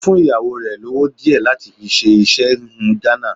Ó fún ìyàwó rẹ̀ lówó díẹ̀ láti fi ṣe iṣẹ́ híhun Ghana.